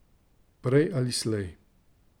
Prej ali slej.